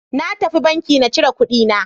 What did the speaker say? Na tafi banki na cire kuɗi na.